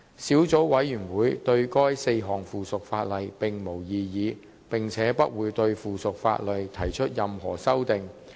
小組委員會對該4項附屬法例並無異議，並且不會對附屬法例提出任何修訂。